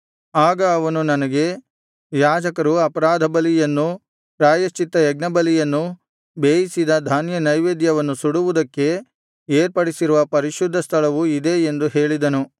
ಆಗ ಅವನು ನನಗೆ ಯಾಜಕರು ಅಪರಾಧ ಬಲಿಯನ್ನೂ ಪ್ರಾಯಶ್ಚಿತ್ತಯಜ್ಞ ಬಲಿಯನ್ನೂ ಬೇಯಿಸಿದ ಧಾನ್ಯನೈವೇದ್ಯವನ್ನು ಸುಡುವುದಕ್ಕೆ ಏರ್ಪಡಿಸಿರುವ ಪರಿಶುದ್ಧ ಸ್ಥಳವು ಇದೆ ಎಂದು ಹೇಳಿದನು